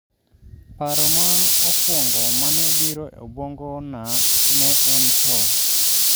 Paro ma okwongo mane obiro e obwongo na ne en tho